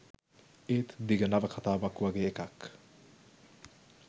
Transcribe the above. ඒත් දිග නවකතාවක් වගේ එකක්